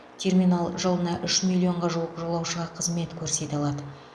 терминал жылына үш миллионға жуық жолаушыға қызмет көрсете алады